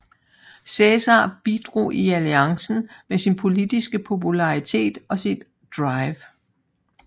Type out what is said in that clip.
Cæsar bidrog i alliancen med sin politiske popularitet og sit drive